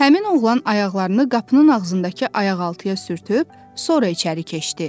Həmin oğlan ayaqlarını qapının ağzındakı ayaqaltıya sürtüb, sonra içəri keçdi.